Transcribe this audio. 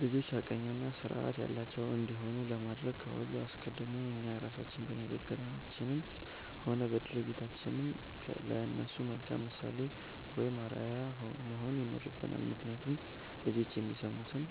ልጆች ሐቀኛና ሥርዓት ያላቸው እንዲሆኑ ለማድረግ ከሁሉ አስቀድሞ እኛ ራሳችን በንግግራችንም ሆነ በድርጊታችን ለእነሱ መልካም ምሳሌ ወይም አርአያ መሆን ይኖርብናል፤ ምክንያቱም ልጆች የሚሰሙትን